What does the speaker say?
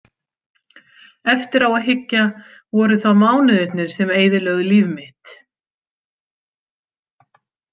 Eftir á að hyggja voru það mánuðirnir sem eyðilögðu líf mitt.